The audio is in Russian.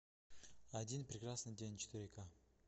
один прекрасный день четыре ка